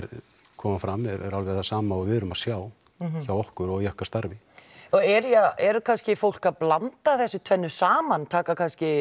koma fram eru alveg það sama og við erum að sjá hjá okkur og í okkar starfi eru kannski fólk að blanda þessu tvennu saman taka